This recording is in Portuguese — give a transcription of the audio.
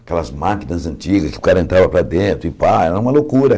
Aquelas máquinas antigas que o cara entrava para dentro e pá, era uma loucura.